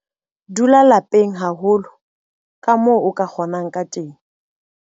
Dula lapeng haholo kamoo o ka kgonang ka teng.